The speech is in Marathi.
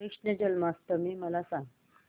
कृष्ण जन्माष्टमी मला सांग